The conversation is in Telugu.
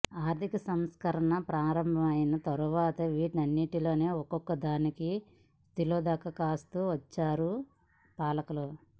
ఆర్థిక సంస్కరణలు ప్రారంభమైన తరువాత వీటన్నిటిలో ఒక్కో దానికి తిలోదకాలిస్తూ వచ్చారు పాలకులు